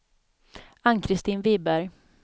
Ann-Christin Wiberg